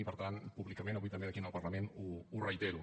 i per tant públicament avui també aquí en el parlament ho reitero